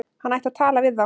Hann ætti að tala við þá.